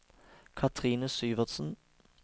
Kathrine Syvertsen